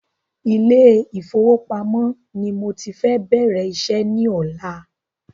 Ilé ìfọwọ́pamó ni mọ ti fẹ bẹ̀rẹ̀ iṣẹ́ ní ọ̀la